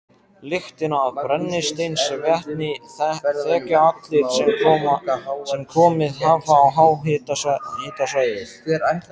Lyktina af brennisteinsvetni þekkja allir sem komið hafa á háhitasvæði.